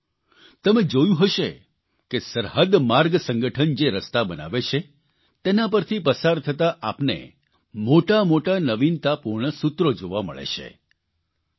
સાથીઓ તમે જોયું હશે કે સરહદ માર્ગ સંગઠન જે રસ્તા બનાવે છે તેના પરથી પસાર થતાં આપને મોટા મોટા નવીનતાપૂર્ણ સૂત્રો જોવા મળે છે